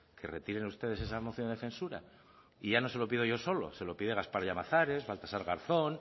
que retiren ustedes esa moción de censura y ya no se lo pido yo solo se lo pide gaspar llamazares baltasar garzón